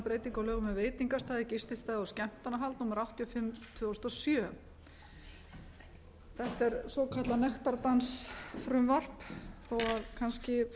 lögum um veitingastaði gististaði og skemmtanahald númer áttatíu og fimm tvö þúsund og sjö þetta er svokallað nektardansfrumvarp þó kannski